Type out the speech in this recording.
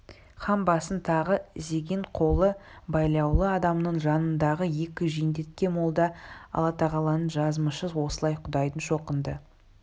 хан басын тағы изеген қолы байлаулы адамның жанындағы екі жендетке молда аллатағаланың жазмышы осылай құдайдың шоқынды